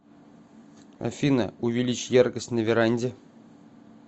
афина увеличь яркость на веранде